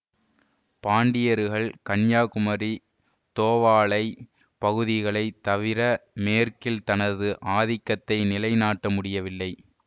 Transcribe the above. பாண்டியர்கள் கன்னியாகுமரி தோவாளை பகுதிகளை தவிர மேற்கில் தனது ஆதிக்கத்தை நிலை நாட்ட முடியவில்லை